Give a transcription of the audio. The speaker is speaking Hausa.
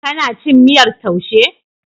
Kana cin miyar taushe?